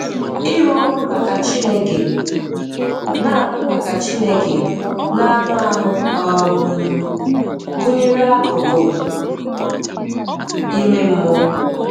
Ịrụ ọrụ maka Chineke, n'anụ maka Chineke, n'anụ ahụ, um gụnyere akụkụ ime mmụọ.